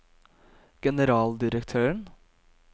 generaldirektøren